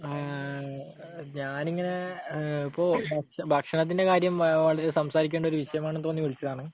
ആഹ് ഞാനിങ്ങനെ ഇപ്പൊ ഭക്ഷണത്തിന്റെ കാര്യം സംസാരിക്കേണ്ട ഒരു വിഷയമാണെന്നു തോന്നി വിളിച്ചതാണ്.